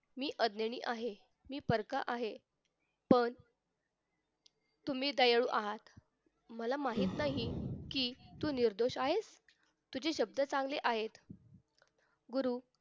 मी अज्ञानी आहे मी परका आहे पण तुम्ही दयाळू आहात मला माहित नाही कि तू निर्दोष आहेस तुझे शब्द चांगले आहेत गुरु